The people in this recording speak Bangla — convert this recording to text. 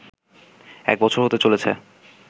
এক বছর হতে চলেছে